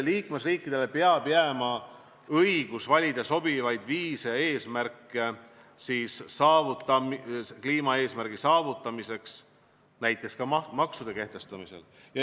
Liikmesriikidele peab jääma õigus valida sobivaid viise kliimaeesmärgi saavutamiseks, näiteks ka maksude kehtestamisel.